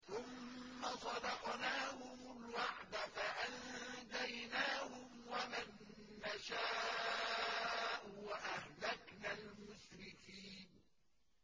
ثُمَّ صَدَقْنَاهُمُ الْوَعْدَ فَأَنجَيْنَاهُمْ وَمَن نَّشَاءُ وَأَهْلَكْنَا الْمُسْرِفِينَ